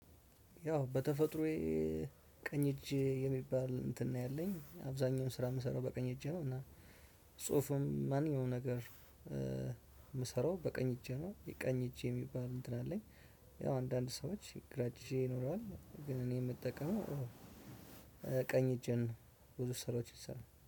ያው በተፈጥሮዬ ቀኝ እጅ የሚባል እንትን ነው ያለኝ፤ አብዛኛውን ስራ የምሰራው በቀኝ እጅ ነው እና ጽሁፍም ማንኛውም ነገር የምሰራው በቀኝ እጄ ነው ቀኝ እጄ የሚባል እንትን አለኝ። ያው አንዳንድ ሰዎች ግራ እጅ ይኖረዋል ግን እኔ የምጠቀመው ቀኝ እጄን ነው። ብዙ ስራዎች ይሰራል